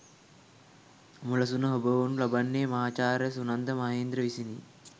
මුලසුන හොබවනු ලබන්නේ මහාචාර්ය සුනන්ද මහේන්ද්‍ර විසිනි.